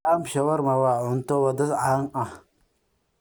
Lamb shawarma waa cunto waddo caan ah.